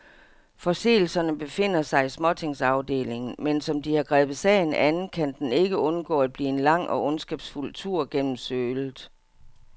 Forseelserne befinder sig i småtingsafdelingen, men som de har grebet sagen an, kan den ikke undgå at blive en lang og ondskabsfuld tur gennem sølet.